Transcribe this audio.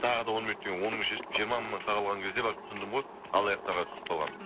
тағы да он минут деген он мың шешіп жиырма мыңнан қағылған кезде барып түсіндім ғой алаяқтарға түсіп қалғанымды